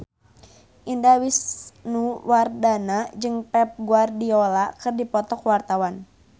Indah Wisnuwardana jeung Pep Guardiola keur dipoto ku wartawan